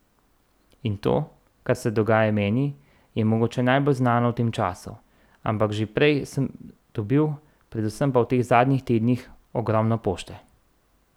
In to, kar se dogaja meni, je mogoče najbolj znano v tem času, ampak že prej sem dobil, predvsem pa v teh zadnjih tednih, ogromno pošte.